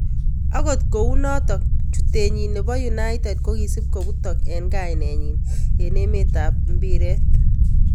Akot kunotok, chutenyi nebo United kokisup koputok eng kainet nyin eng emte ab mbiret.